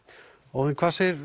Óðinn hvað segir